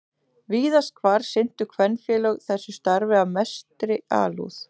Víðast hvar sinntu kvenfélög þessu starfi af mestri alúð.